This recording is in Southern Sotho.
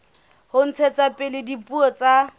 ho ntshetsa pele dipuo tsa